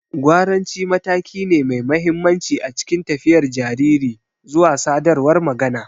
Gwaranci mataki ne mai mahimmanci a cikin tafiyar jariri zuwa sadarwar magana.